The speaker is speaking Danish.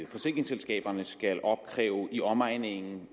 forsikringsselskaberne skal opkræve i omegnen